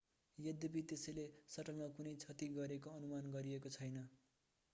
यद्यपि त्यसले सटलमा कुनै क्षति गरेको अनुमान गरिएको छैन